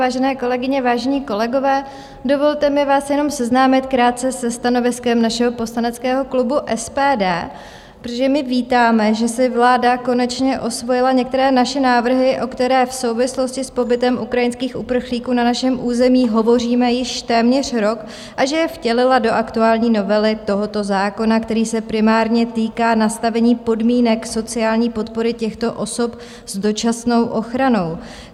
Vážené kolegyně, vážení kolegové, dovolte mi vás jenom seznámit krátce se stanoviskem našeho poslaneckého klubu SPD, protože my vítáme, že si vláda konečně osvojila některé naše návrhy, o kterých v souvislosti s pobytem ukrajinských uprchlíků na našem území hovoříme již téměř rok, a že je vtělila do aktuální novely tohoto zákona, který se primárně týká nastavení podmínek sociální podpory těchto osob s dočasnou ochranou.